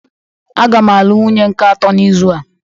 Aga m alụ wunye nke atọ n'izu a